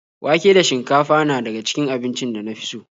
Wake da shinkafa na daga cikin abincin da na fi so.